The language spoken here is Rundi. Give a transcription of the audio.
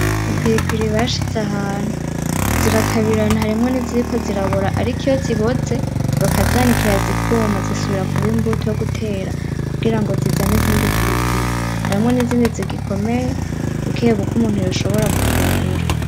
Ipiripiri bashize ahantu, zirakabirana harimwo n'iziriko zirabora ,ariko iyo ziboze bakazanikira zikuma zisubira kuba imbuto yogutera kugira zizane izindi piripiri, harimwo n'izindi zigikomeye bukebuke umuntu yoshobora gufungura.